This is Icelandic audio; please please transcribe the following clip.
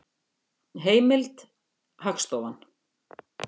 Heimild: Hagstofan.